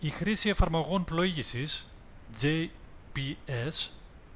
η χρήση εφαρμογών πλοήγησης gps